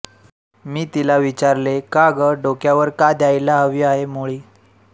मी तिला विचारले का गं डोक्यावर का द्यायला हवी आहे मोळी